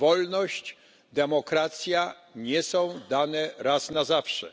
Wolność i demokracja nie są dane raz na zawsze.